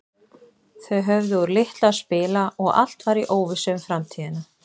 Þau höfðu úr litlu að spila og allt var í óvissu um framtíðina.